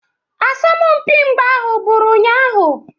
Asọmpi mgba ahụ bụrụ ụnyahụ.